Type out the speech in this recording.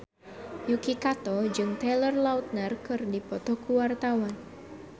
Yuki Kato jeung Taylor Lautner keur dipoto ku wartawan